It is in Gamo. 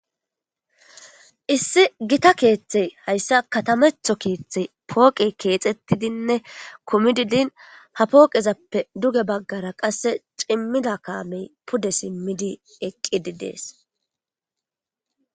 Issi gita keeththey hayssa katametho keeththey pooqe keexettidinne kumidi din ha pooqezappe duge baggara qasse cimmida kaamey pude simmidi eqqi idees.